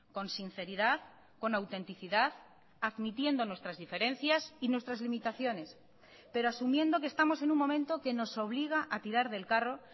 con sinceridad con autenticidad admitiendo nuestras diferencias y nuestras limitaciones pero asumiendo que estamos en un momento que nos obliga a tirar del carro